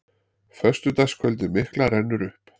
Föstudagskvöldið mikla rennur upp.